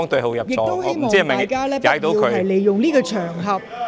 我亦希望大家不要利用這個場合......